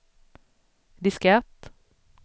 diskett